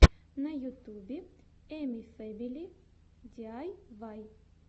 на ютюбе эмифэмили диайвай